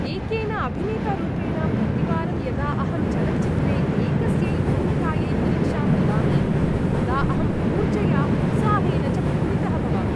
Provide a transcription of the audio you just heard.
एकेन अभिनेतारूपेण, प्रतिवारं यदा अहं चलच्चित्रे एकस्यै भूमिकायै परीक्षां ददामि तदा अहम् ऊर्जया उत्साहेन च पूरितः भवामि।